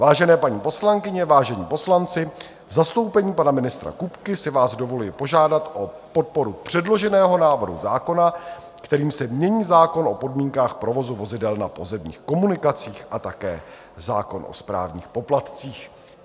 Vážené paní poslankyně, vážení poslanci, v zastoupení pana ministra Kupky si vás dovoluji požádat o podporu předloženého návrhu zákona, kterým se mění zákon o podmínkách provozu vozidel na pozemních komunikacích a také zákon o správních poplatcích.